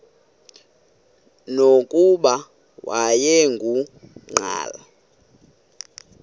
nokuba wayengu nqal